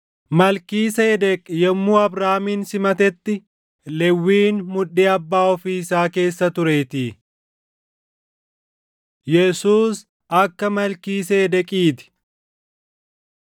Malkiiseedeq yommuu Abrahaamin simatetti Lewwiin mudhii abbaa ofii isaa keessa tureetii. Yesuus Akka Malkiiseedeqiiti